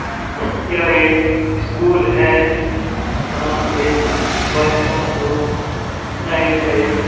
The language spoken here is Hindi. यह एक स्कूल है यहाँ पे बच्चो को नए-नए --